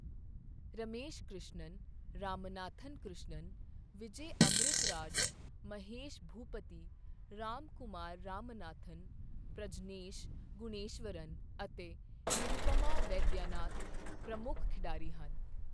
ਰਮੇਸ਼ ਕ੍ਰਿਸ਼ਨਨ, ਰਾਮਨਾਥਨ ਕ੍ਰਿਸ਼ਨਨ, ਵਿਜੈ ਅਮ੍ਰਿਤਰਾਜ, ਮਹੇਸ਼ ਭੂਪਤੀ, ਰਾਮਕੁਮਾਰ ਰਾਮਨਾਥਨ, ਪ੍ਰਜਨੇਸ਼ ਗੁਣੇਸ਼ਵਰਨ ਅਤੇ ਨਿਰੂਪਮਾ ਵੈਦਿਆਨਾਥਨ ਪ੍ਰਮੁੱਖ ਖਿਡਾਰੀ ਹਨ।